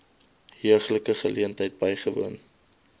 heuglike geleentheid bywoon